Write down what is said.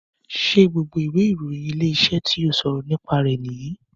Ṣé gbogbo ìwé ìròyìn Ilé-iṣẹ́ tí ó ṣọ̀rọ̀ nípa rẹ̀ nìyí